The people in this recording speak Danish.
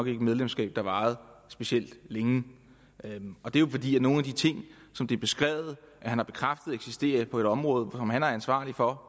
et medlemskab der varede specielt længe det er jo fordi der er nogle ting som det er beskrevet at han har bekræftet eksisterer på et område som han er ansvarlig for